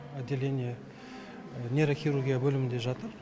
отделение нейрохирургия бөлімінде жатыр